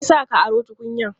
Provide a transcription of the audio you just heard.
Me ya sa ka aro tukunyan?